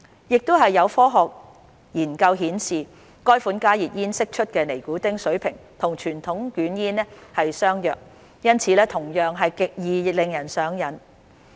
亦有科學研究顯示，該款加熱煙釋出的尼古丁水平與傳統捲煙相若，因此同樣極易令人上癮。